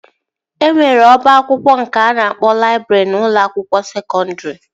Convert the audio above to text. E nwere ọba akwụkwọ nke a na-akpọ laịbrị n'ụlọ akwụkwọ sekọndri